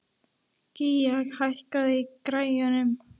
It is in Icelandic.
Gía, hækkaðu í græjunum.